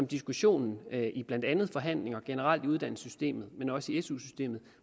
diskussionen i blandt andet forhandlinger generelt i uddannelsessystemet men også i su systemet